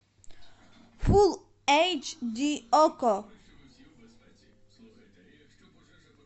фул эйч ди окко